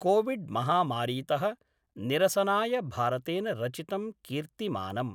COVID महामारीत: निरसनाय भारतेन रचितं कीर्तिमानम्।